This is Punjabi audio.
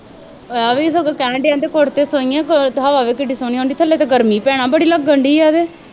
ਅਵੀ ਸਗੋਂ ਕਹਿਣ ਡਿਆ ਤੇ ਕੋਠੇ ਤੇ ਸੌਈਏਂ, ਹਵਾ ਦੇਖ ਕਿੱਡੀ ਸੋਹਣੀ ਆਉਂਦੀ, ਥੱਲੇ ਤਾਂ ਗਰਮੀ ਬੜੀ ਭੈਣਾ ਲੱਗਣ ਡੀ ਹੈ ਵੇ